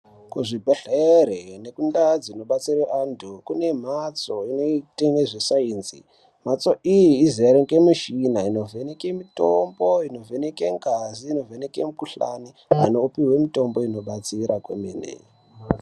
Kuzvibhedhlere nekundaa dzinobatsire antu, kune mhatso inoite nezvesainzi. Mhatso iyi izere ngemishina inovheneke mitombo, inovheneke ngazi, inovheneke mikhuhlani, inopiwe mitombo inobatsira kwemene.